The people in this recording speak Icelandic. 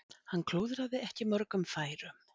Hann klúðraði ekki mörgum færum.